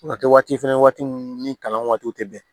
A kɛ waati fɛnɛ waati ni kalan waatiw tɛ bɛn